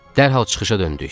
Dərhal çıxışa döndük.